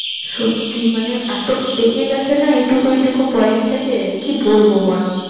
সত্যি মানে এত পেকে গেছে না এইটুকু এইটুকু বয়স থেকে। কি বলব বল!